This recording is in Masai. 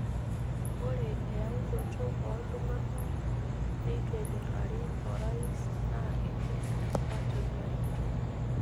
Ore eyaunoto ooltung'anak leituenyorrari orais naa kegil empati narikito.